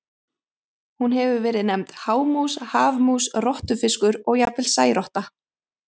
Hún hefur verið nefnd hámús, hafmús, rottufiskur og jafnvel særotta.